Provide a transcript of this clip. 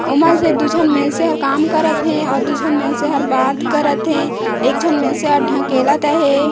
ओमा के दू झन मइनसे हर काम करत हे आऊ दू झन मइनसे हर बात करत हे एक झन मइनसे हर ढकेलत हे।